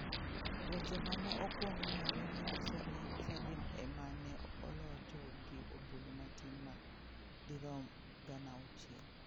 Weche ma ne okwong ng'ere ne nyiso ni Salim e ma ne olocho gi ombulu matin ma dirom 6,000.